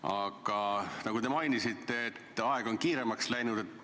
Aga nagu te mainisite, aeg on kiiremaks läinud.